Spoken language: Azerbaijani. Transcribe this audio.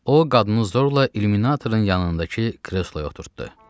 O qadını zorla illüminatorun yanındakı kresloya oturtddu.